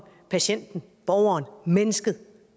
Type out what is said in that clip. patienten borgeren mennesket